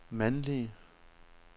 mandlige